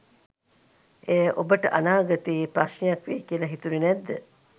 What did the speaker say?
එය ඔබට අනාගතයේ ප්‍රශ්නයක් වෙයි කියලා හිතුණේ නැද්ද?